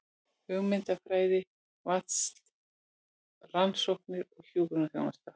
Hugmyndafræði, rannsóknir og hjúkrunarþjónusta.